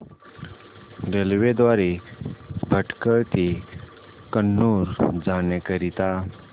railway द्वारे भटकळ ते कन्नूर जाण्या करीता